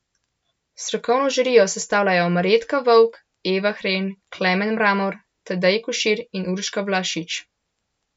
Strokovno žirijo sestavljajo Marjetka Vovk, Eva Hren, Klemen Mramor, Tadej Košir in Urša Vlašič.